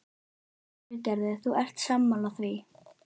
Lillý Valgerður: Þú ert sammála því?